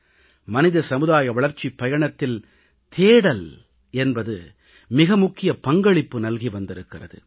மனித சமுதாய வளர்ச்சிப் பயணத்தில் தேடல் என்பது மிக முக்கிய பங்களிப்பு நல்கி வந்திருக்கிறது